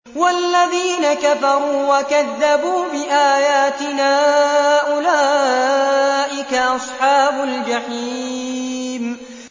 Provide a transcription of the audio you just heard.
وَالَّذِينَ كَفَرُوا وَكَذَّبُوا بِآيَاتِنَا أُولَٰئِكَ أَصْحَابُ الْجَحِيمِ